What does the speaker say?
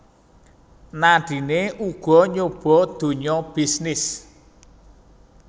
Nadine uga nyoba dunya bisnis